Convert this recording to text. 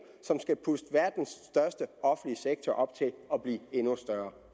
som skal puste verdens største offentlige sektor op til at blive endnu større